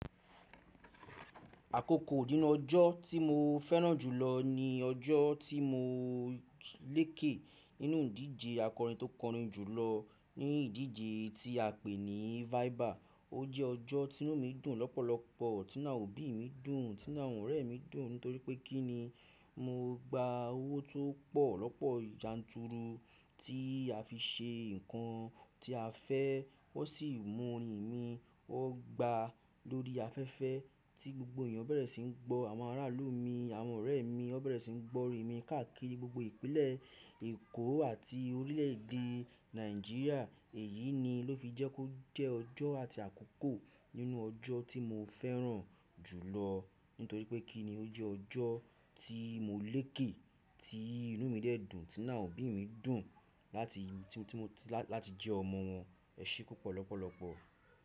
Àkókò nínu ọjọ́ tí mo fẹ́ràn jùlọ ni ọjọ́ tí mo lékè nínú ìdíje akọrin tó kọrin jùlọ ní ìdíje tí a pè ní Viper. Ó jẹ́ ọjọ́ tí inú mi dùn lọ́pọ̀lọpọ̀, tí inu àwọn òbí mi dùn, tí àwọn inu ọ̀rẹ́ mi dùn nítorí pé kí ni, mo gba owó tó pọ̀ lọ́pọ̀ yànturu tí a fi ṣe nǹkan tí a fẹ́, wọ́n sì mú orin mi, wọ́n gba lórí afẹ́fẹ́ tí gbogbo èèyàn bẹ̀rẹ̀ sí ní gbọ́, àwọn ará ìlú mi, àwọn ọ̀rẹ́ mi, wọ́n bẹ̀rẹ̀ sí ní gbọ́ orin mi káàkiri gbogbo ìpínlẹ̀ Èkó àti orílẹ̀ èdè Nàìjíríà. Èyí ni ló fi jẹ́ kó jẹ́ ọjọ́ àti àkókò nínú ọjọ́ tí mo fẹ́ràn jùlọ nítorí pé kí ni ó jẹ́ ọjọ́ tí mo lékè, tí inú mi dẹ dùn, tí nu àwọn òbí mi dùn láti jẹ́ ọmọ wọn. Ẹ ṣé púpọ̀ lọ́pọ̀lọpọ̀.